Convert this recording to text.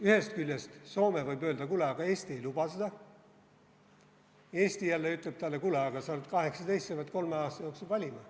Ühest küljest võib Soome öelda, et kuule, aga Eesti ei luba seda, Eesti jälle ütleb talle, et kuule, aga sa oled 18, sa pead kolme aasta jooksul valima.